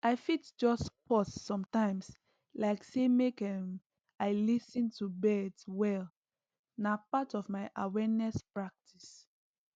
i fit just pause sometimes like say make um i lis ten to birds well na part of my awareness practice